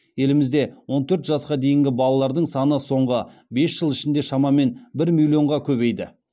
елімізде он төрт жасқа дейінгі балалардың саны соңғы бес жыл ішінде шамамен бір миллионға көбейді